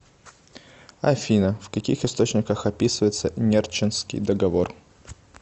афина в каких источниках описывается нерчинский договор